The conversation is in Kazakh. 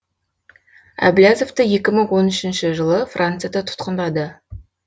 әблязовты екі мың он үшінші жылы францияда тұтқындады